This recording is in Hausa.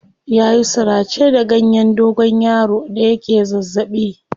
Ya yi surace da ganyen dogonyaro da yake zazzaɓi.